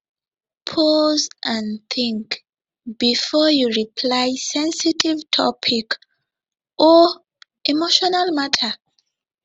pause and think before you reply sensitive topic or emotional matter